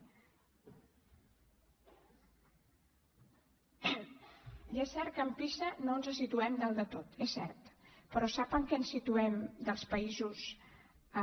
i és cert que amb pisa no ens situem dalt de tot és cert però sap en què ens situem dels països amb